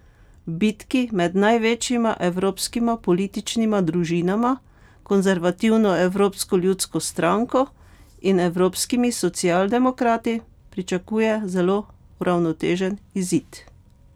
V bitki med največjima evropskima političnima družinama, konservativno Evropsko ljudsko stranko in evropskimi socialdemokrati, pričakuje zelo uravnotežen izid.